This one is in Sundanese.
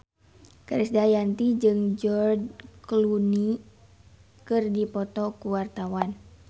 Krisdayanti jeung George Clooney keur dipoto ku wartawan